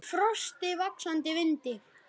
Í frosti, vaxandi vindi.